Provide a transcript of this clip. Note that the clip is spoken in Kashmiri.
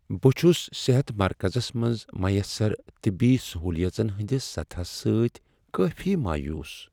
بہٕ چھس صحت مرکزس منز میسر طبی سہولیژن ہندس سطحس سۭتۍ کٲفی مایوس۔